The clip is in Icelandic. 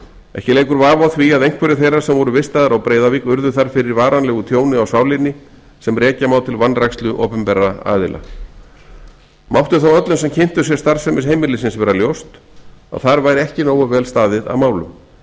ekki leikur vafi á því að einhverjir þeirra sem voru vistaðir á breiðuvík urðu þar fyrir varanlegu tjóni á sálinni sem rekja má til vanrækslu opinberra aðila mátti þó öllum sem kynntu sér starfsemi heimilisins vera ljóst að þar væri ekki nógu vel staðið að málum